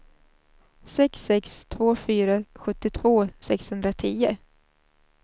sex sex två fyra sjuttiotvå sexhundratio